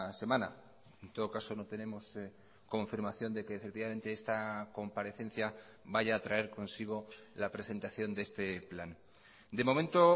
semana en todo caso no tenemos confirmación de que efectivamente esta comparecencia vaya a traer consigo la presentación de este plan de momento